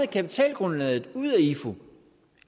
kapitalgrundlaget ud af ifu